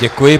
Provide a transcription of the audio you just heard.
Děkuji.